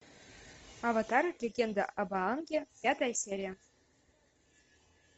аватар легенда об аанге пятая серия